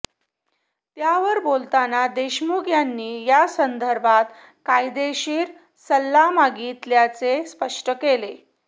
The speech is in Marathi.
त्यावर बोलताना देशमुख यांनी यासंदर्भात कायदेशीर सल्ला मागितल्याचे स्पष्ट केले